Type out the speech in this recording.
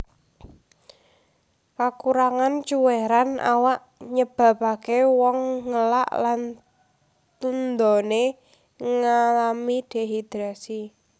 Kakurangan cuwèran awak nyebabaké wong ngelak lan tundoné ngalami dehidrasi